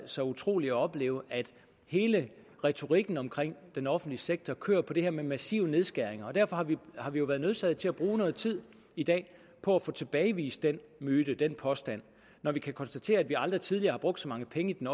så utroligt at opleve at hele retorikken omkring den offentlige sektor kører på det her med massive nedskæringer derfor har vi har vi jo være nødsaget til at bruge noget tid i dag på at få tilbagevist den myte den påstand når vi kan konstatere at vi aldrig tidligere har brugt så mange penge i den